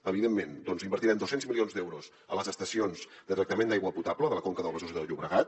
evidentment invertirem dos cents milions d’euros a les estacions de tractament d’aigua potable de la conca del besòs i del llobregat